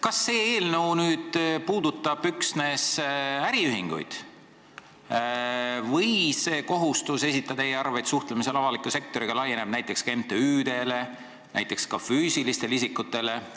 Kas see eelnõu puudutab üksnes äriühinguid või on kohustus esitada e-arveid suhtlemisel avaliku sektoriga näiteks ka MTÜ-del ja füüsilistel isikutel?